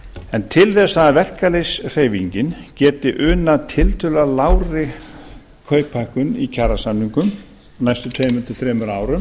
en til þess að verkalýðshreyfingin geti unað tiltölulega lágri kauphækkun í kjarasamningum á næstu tveimur til þremur árum